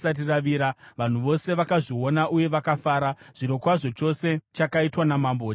Vanhu vose vakazviona uye vakafara; zvirokwazvo, chose chakaitwa namambo chakavafadza.